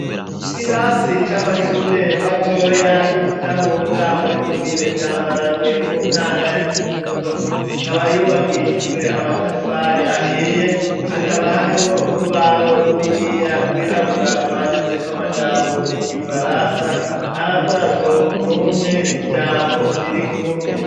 Ikirasi c'amashure matoya, y'i Budahunga, muri komine Bwambarangwe, mu ntara ya Kirundo; kaba yubakishijwe amatafari ahiye, hakaba harimwo urubaho runiniya, rwirabura, rwanditseko amajambo y'igifaransa; aravuga ngo:"ni umpe ijambo riri kumwe".